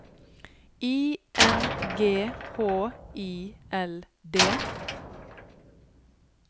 I N G H I L D